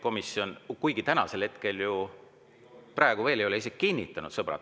Komisjoni istungi töökava täna ju ei ole veel isegi kinnitatud, sõbrad.